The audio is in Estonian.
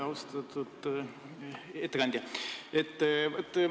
Austatud ettekandja!